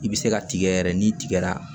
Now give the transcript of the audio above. I bɛ se ka tigɛ yɛrɛ n'i tigɛra